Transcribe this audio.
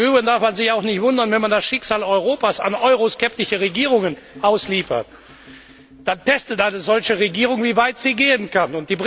Im Übrigen darf man sich auch nicht wundern, wenn man das Schicksal Europas an euroskeptische Regierungen ausliefert. Dann testet eine solche Regierung, wie weit sie gehen kann.